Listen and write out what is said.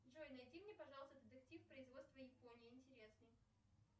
джой найди мне пожалуйста детектив производства японии интересный